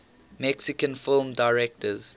mexican film directors